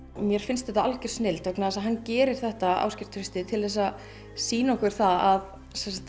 mér finnst þetta algjör snilld vegna þess að hann gerir þetta Ásgeir Trausti til þess að sýna okkur það að